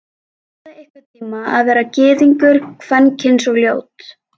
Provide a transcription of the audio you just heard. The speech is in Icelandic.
Prófaðu einhvern tíma að vera gyðingur, kvenkyns og ljót.